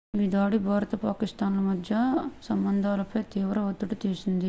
ఈ దాడి భారత్ పాకిస్థాన్ ల మధ్య సంబంధాలపై తీవ్ర ఒత్తిడి చేసింది